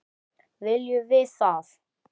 Viljum við það?